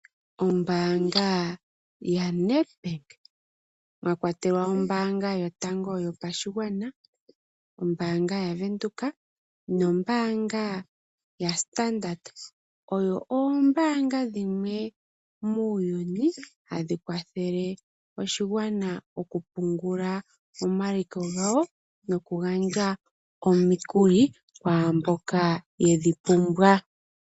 Ombaanga ya NedBank mwa kwatelwa ombaanga yotango yopashigwana, ombaanga ya Venduka nombaanga ya Standard oyo oombanga dhimwe muuyuni hadhi kwathele oshigwana okupungula omaliko gawo, noku gandja omikuli kwaamboka yedhi pumbwa.